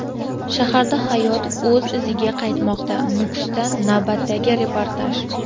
Shaharda hayot o‘z iziga qaytmoqda – Nukusdan navbatdagi reportaj.